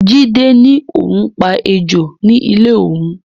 Jide ní òun pa ejò ní ilé òun